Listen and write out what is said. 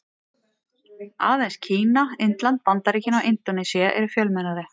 Aðeins Kína, Indland, Bandaríkin og Indónesía eru fjölmennari.